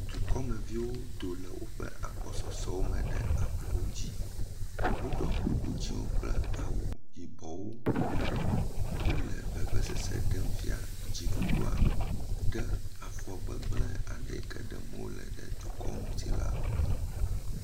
Dukɔmeviwo do le woƒe agbɔsɔsɔwome ɖe ablɔwo dzi. Woɖɔ kuku dzẽwo kple awu yibɔwo. Wole vevesese ɖem fia dziɖuɖua ɖe afɔ gbegblẽ yi ke ɖem wole ɖe dukɔa ŋuti la ŋu.